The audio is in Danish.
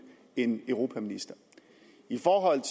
en europaminister i forhold